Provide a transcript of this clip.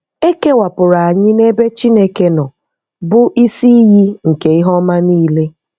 Ekewapụrụ anyị n’ebe Chineke nọ, bụ́ isi iyi nke ihe ọma niile.